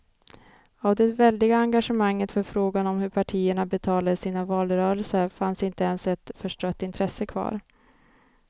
Av det väldiga engagemanget för frågan om hur partierna betalade sina valrörelser fanns inte ens ett förstrött intresse kvar.